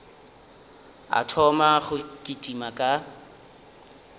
a thoma go kitima ka